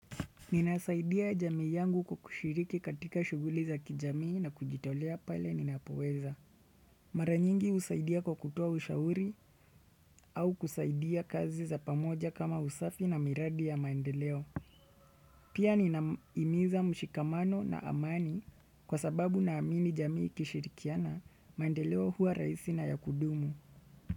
Ninasaidia jamii yangu kwa kushiriki katika shughuli za kijamii na kujitolea pale ninapoweza. Mara nyingi husaidia kwa kutoa ushauri au kusaidia kazi za pamoja kama usafi na miradi ya maendeleo. Pia ninahimiza mshikamano na amani kwa sababu na amini jamii ikishirikiana, maendeleo huwa rahisi na ya kudumu.